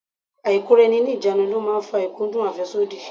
Ailekoraeni-ni-ijanu ni ó máa ń fa ikudun afesodi.